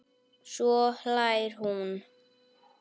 Svo hlær hún.